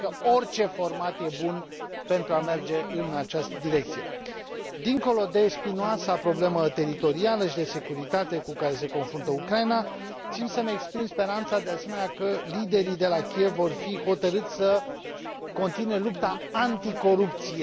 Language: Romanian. Cred că orice format este bun pentru a merge în această direcție. Dincolo de spinoasa problemă teritorială și de securitate cu care se confruntă Ucraina, țin să îmi exprim speranța, de asemenea, că liderii de la Kiev vor fi hotărâți să continue lupta anticorupție.